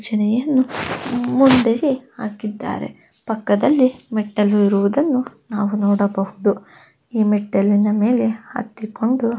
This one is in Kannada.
ಭಜನೆಯನ್ನು ಮುಂದಕ್ಕೆ ಹಾಕಿದ್ದಾರೆ ಪಕ್ಕದಲ್ಲಿ ಮೆಟ್ಟಿಲು ಇರುವುದನ್ನು ನಾವು ನೋಡಬಹುದು ಇ ಮೆಟ್ಟಲಿನ ಮೇಲೆ ಹತ್ತಿಕೊಂಡು--